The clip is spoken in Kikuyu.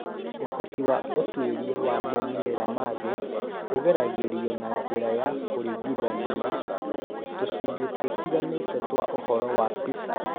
Ũhoti wa ũtuĩria wa moimĩrĩro ma thĩ ũgeragĩrio na njĩra ya kũringithania tũcunjĩ tũtiganĩte twa ũhoro wa PISA.